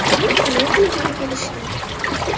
Tunov kuni ham kelishdi.